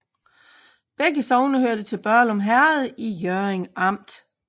Begge sogne hørte til Børglum Herred i Hjørring Amt